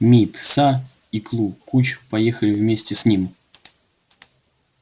мит са и клу куч поехали вместе с ним